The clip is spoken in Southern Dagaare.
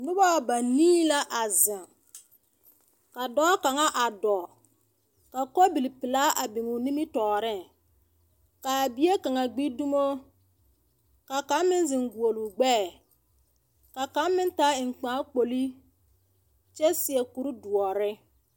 Noba banii la a zeŋ, ka dɔɔ kaŋa a dɔɔ, ka kolbipelaa a biŋ o nimitɔɔreŋ. Kaa bie kaŋa gbi dumoo, ka kaŋ meŋ zeŋ guoluu gbɛɛ. Ka kaŋ meŋ taa eŋkpaŋkpolii kyɛ seɛ kurdoɔre.